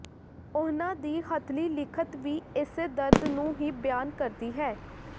ਉਹਨਾਂ ਦੀ ਹਥਲੀ ਲਿਖਤ ਵੀ ਏਸੇ ਦਰਦ ਨੂੰ ਹੀ ਬਿਆਨ ਕਰਦੀ ਹੈ